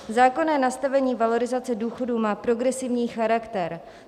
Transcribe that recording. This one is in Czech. Zákonné nastavení valorizace důchodů má progresivní charakter.